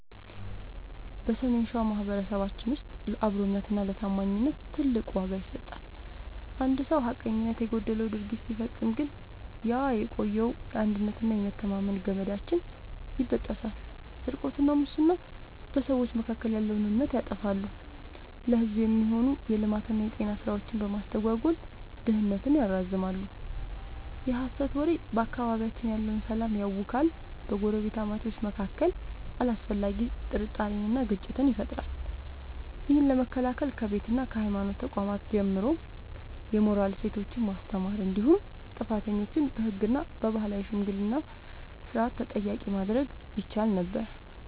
በሰሜን ሸዋ ማኅበረሰባችን ውስጥ ለአብሮነትና ለታማኝነት ትልቅ ዋጋ ይሰጣል። አንድ ሰው ሐቀኝነት የጎደለው ድርጊት ሲፈጽም ግን ያ የቆየው የአንድነትና የመተማመን ገመዳችን ይበጠሳል። ስርቆትና ሙስና፦ በሰዎች መካከል ያለውን እምነት ያጠፋሉ፤ ለሕዝብ የሚሆኑ የልማትና የጤና ሥራዎችን በማስተጓጎል ድህነትን ያራዝማሉ። የሐሰት ወሬ፦ በአካባቢያችን ያለውን ሰላም ያውካል፤ በጎረቤታማቾች መካከል አላስፈላጊ ጥርጣሬንና ግጭትን ይፈጥራል። ይህን ለመከላከል ከቤትና ከሃይማኖት ተቋማት ጀምሮ የሞራል እሴቶችን ማስተማር እንዲሁም ጥፋተኞችን በሕግና በባህላዊ የሽምግልና ሥርዓት ተጠያቂ ማድረግ ይቻል ነበር።